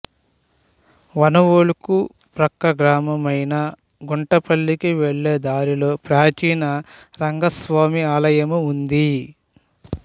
వనవోలుకు పక్క గ్రామమైన గుంటిపల్లికి వెళ్ళే దారిలో ప్రాచీన రంగస్వామి ఆలయము ఉంది